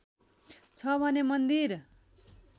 छ भने मन्दिर